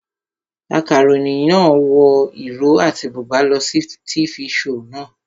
Akaròyìn náà wọ ìró àti bùbá lọ sí tifi shoò naa